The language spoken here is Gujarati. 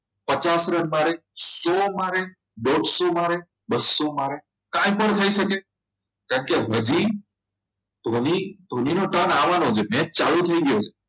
પચાસ રન મારે સો મારે દોડસો મારે બસો મારે કાંઈ પણ થઈ શકે કેમ કે હજી ધોની ધોનીનો turn આવવાનો છે અને મેચ ચાલુ થઈ ગયો છે